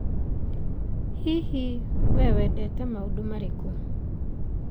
Hihi, wee wendete maũndũ marĩkũ?